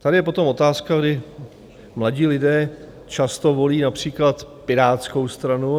Tady je potom otázka, kdy mladí lidé často volí například Pirátskou stranu.